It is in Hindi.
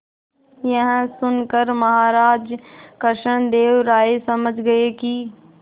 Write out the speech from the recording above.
यह सुनकर महाराज कृष्णदेव राय समझ गए कि